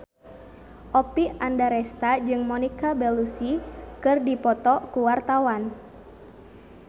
Oppie Andaresta jeung Monica Belluci keur dipoto ku wartawan